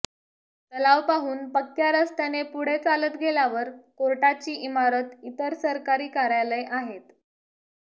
तलाव पाहून पक्क्या रस्त्याने पुढे चालत गेल्यावर कोर्टाची इमारत इतर सरकारी कार्यालय आहेत